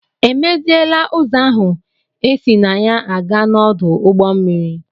E meziela ụzọ ahụ esi na ya a gaa n'ọdụ ụgbọ mmiri?